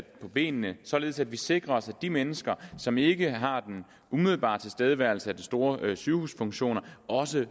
på benene således at vi sikrer os at de mennesker som ikke har den umiddelbare tilstedeværelse af de store sygehuses funktioner også